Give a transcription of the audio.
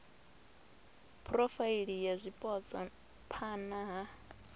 phurofaili ya zwipotso phana ha